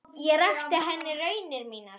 Ég rakti henni raunir mínar.